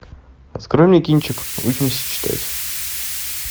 открой мне кинчик учимся читать